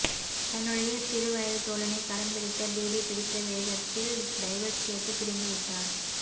தன்னுடைய சிறு வயது தோழனை கரம் பிடித்த டிடி பிடித்த வேகத்தில் டைவர்ஸ் கேட்டு பிரிந்து விட்டார்